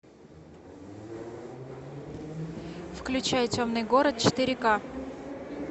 включай темный город четыре ка